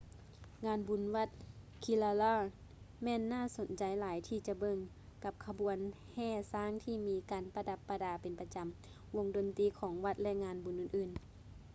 ງານບຸນວັດ kerala ແມ່ນຫນ້າສົນໃຈຫຼາຍທີ່ຈະເບິ່ງ ກັບຂະບວນແຫ່ຊ້າງທີ່ມີການປະດັບປະດາເປັນປະຈຳ ວົງດົນຕຼີຂອງວັດ ແລະ ງານບຸນອື່ນໆ